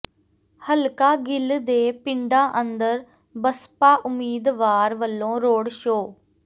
ਹਲਕਾ ਗਿੱਲ ਦੇ ਪਿੰਡਾਂ ਅੰਦਰ ਬਸਪਾ ਉਮੀਦਵਾਰ ਵੱਲੋਂ ਰੋਡ ਸ਼ੋਅ